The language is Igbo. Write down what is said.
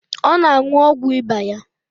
Ọ na-aṅụ́ogwu ịba ya